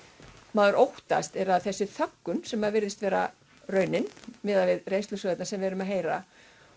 maður óttast er að þessi þöggun sem virðist vera raunin miðað við reynslusögurnar sem við erum að heyra